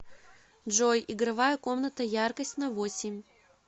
джой игровая комната яркость на восемь